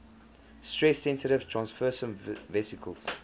stress sensitive transfersome vesicles